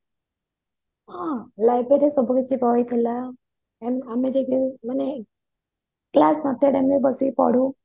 ହଁ library ରେ ସବୁ କିଛି ବହି ଥିଲା ଆମେ ଯଦି ମାନେ class ଭିତରେ ବସି ପଢୁ